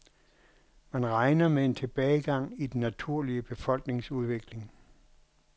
Man regner med en tilbagegang i den naturlige befolkningsudvikling.